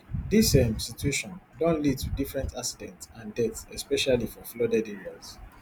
dis um situation don lead to different accidents and deaths especially for flooded areas